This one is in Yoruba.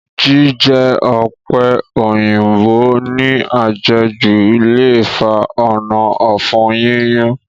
Jíjẹ ọ̀pẹ̀ òyìnbó ní àjẹjù le fa ònà ọ̀fun yíyún